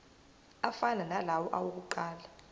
afana nalawo awokuqala